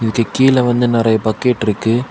இங்க கீழ வந்து நறைய பக்கிட் இருக்கு.